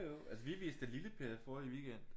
Jo jo altså vi viste da Lille Per forrige weekend